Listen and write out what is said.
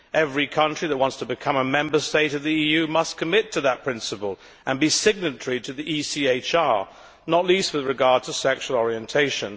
Every country that wants to become a Member State of the EU must commit to that principle and be signatory to the ECHR, not least with regard to sexual orientation.